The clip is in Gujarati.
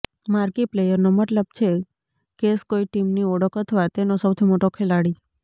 માર્કી પ્લેયરનો મતલબ છે કેસ કોઇ ટીમની ઓળખ અથવા તેનો સૌથી મોટો ખેલાડી